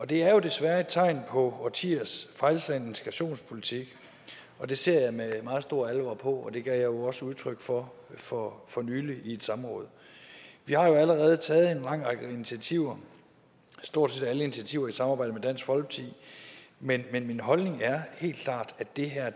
det er jo desværre et tegn på årtiers fejlslagen integrationspolitik og det ser jeg med meget stor alvor på det jeg jo også udtryk for for for nylig i et samråd vi har jo allerede taget en lang række initiativer stort set alle initiativer i samarbejde med dansk folkeparti men min holdning er helt klart at det her